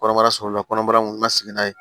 Kɔnɔbara sɔgɔla kɔnɔbara mun lasigi n'a ye